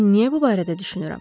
Mən niyə bu barədə düşünürəm?